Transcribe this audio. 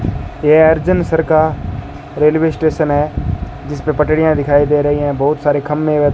ये अर्जनसर का railway station है जिसपे पटरियां दिखाई दे रही हैं बहुत सारे खंभे व --